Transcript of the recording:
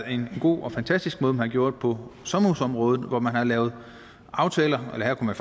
en god og fantastisk måde man gjorde på sommerhusområdet hvor man har lavet aftaler eller her kunne